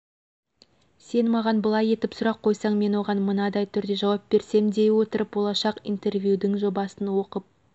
сен маған былай етіп сұрақ қойсаң мен оған мынадай түрде жауап берсем дей отырып болашақ интервьюдің жобасын оқып